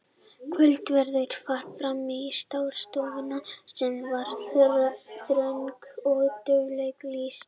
Kvöldverður var framreiddur í stássstofunni sem var þröng og dauflega lýst.